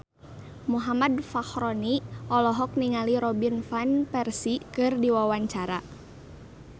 Muhammad Fachroni olohok ningali Robin Van Persie keur diwawancara